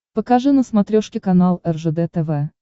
покажи на смотрешке канал ржд тв